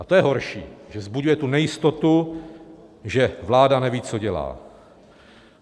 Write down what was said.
A to je horší, že vzbuzuje tu nejistotu, že vláda neví, co dělá.